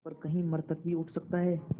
पर कहीं मृतक भी उठ सकता है